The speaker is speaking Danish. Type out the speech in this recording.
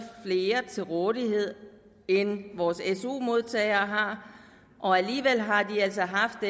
mere til rådighed end vores su modtagere har og alligevel har de altså haft